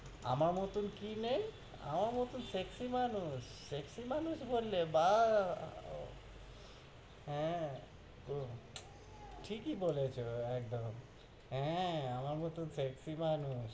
আমার মতো কি নেই? আমার মতো sexy মানুষ? sexy মানুষ বললে? বাহ্! হ্য়াঁ, একদম ঠিকই বলেছ, একদম হ্য়াঁ, আমার মতো sexy মানুষ।